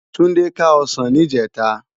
Tunde ká òsán nijètá